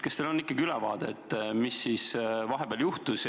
Kas teil on ülevaade, mis siis vahepeal juhtus?